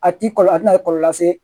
A ti kɔlɔlɔ a tɛna kɔlɔlɔ lase